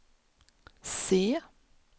C